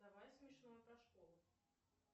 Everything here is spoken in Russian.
давай смешное про школу